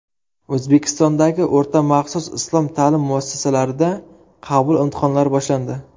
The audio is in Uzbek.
O‘zbekistondagi o‘rta maxsus islom ta’lim muassasalarida qabul imtihonlari boshlandi.